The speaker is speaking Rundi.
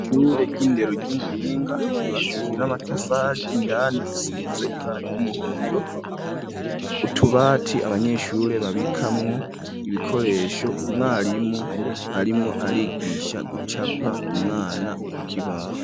ishure ry'indero ry'umuhinga ry,ubakishijwe n'amatafari indani risize ibara ry'umuhondo utubati abanyeshure babikamwo ibikoresho umwarimu arimwo arigisha gucapa umwana ku kibaho.